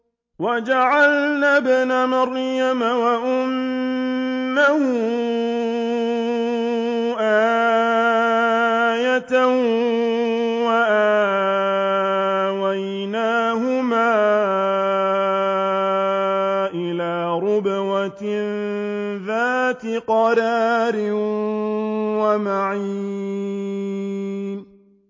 وَجَعَلْنَا ابْنَ مَرْيَمَ وَأُمَّهُ آيَةً وَآوَيْنَاهُمَا إِلَىٰ رَبْوَةٍ ذَاتِ قَرَارٍ وَمَعِينٍ